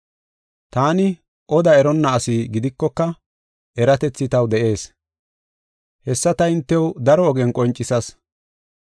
Taani oda eronna asi gidikoka, eratethi taw de7ees. Hessa ta hintew daro ogen qoncisas.